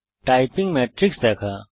typing matrix দেখা